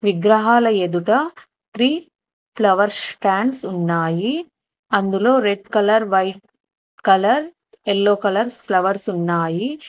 విగ్రహాల ఎదుట three flower stands ఉన్నాయి అందులో red colour white colour yellow colours flowers ఉన్నాయి.